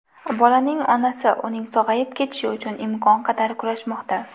Bolaning onasi uning sog‘ayib ketishi uchun imkon qadar kurashmoqda.